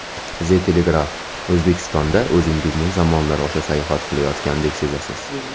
The Telegraph: O‘zbekistonda o‘zingizni zamonlar osha sayohat qilayotgandek sezasiz.